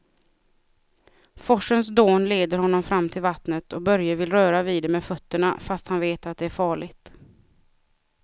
Forsens dån leder honom fram till vattnet och Börje vill röra vid det med fötterna, fast han vet att det är farligt.